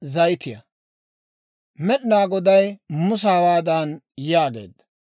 Med'inaa Goday Musa hawaadan yaageedda;